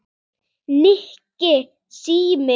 Nikki, síminn